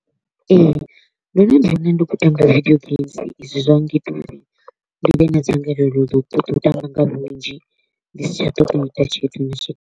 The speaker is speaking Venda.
Ee, ndo no ḓi wana ndi kho u tamba video games, izwi zwa nngita uri ndi vhe na dzangalelo ḽa u ṱoḓa u tamba nga vhunzhi, ndi si tsha ṱoḓa u ita tshthu na tshithihi.